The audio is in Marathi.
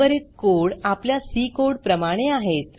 उर्वरित कोड आपल्या सी कोड प्रमाणे आहेत